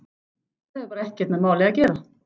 Það hefur bara ekkert með málið að gera.